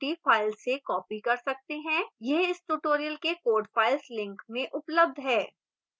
यह इस tutorial के code files link में उपलब्ध है